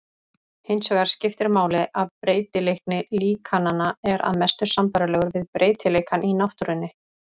Hinsvegar skiptir máli að breytileiki líkananna er að mestu sambærilegur við breytileikann í náttúrunni.